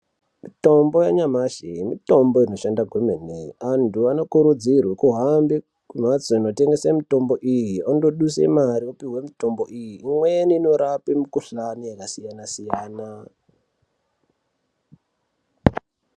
Mitombo yamashi, mitombo inoshanda kwemene, anthu anokurudzirwa kuhambe kumhatso inotengesa mitombo iyi, andoduse mare, opuhwe mitombo iyi, imweni inorapa mikhuhlani yakasiyana-siyana